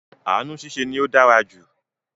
Ànu ṣiṣẹ́ ni ó dára jù